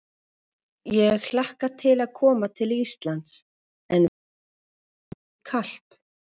Ég hlakka til að koma til Íslands en vona að það verði ekki kalt.